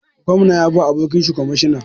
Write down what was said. Gwamna ya bawa abokinshi kwamishina